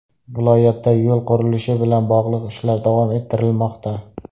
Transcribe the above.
Viloyatda yo‘l qurilishi bilan bog‘liq ishlar davom ettirilmoqda.